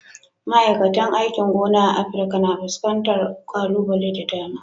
Ma'aikatan aikin gona a Afirka na fuskantar kalubale da dama.